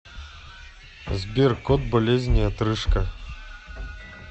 сбер код болезни отрыжка